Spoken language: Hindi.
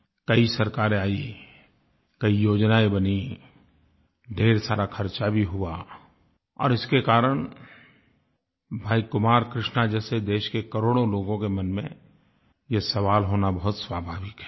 कई सरकारें आईं कई योजनायें बनीं ढेर सारा खर्चा भी हुआ और इसके कारण भाई कुमार कृष्णा जैसे देश के करोड़ों लोगों के मन में ये सवाल होना बहुत स्वाभाविक है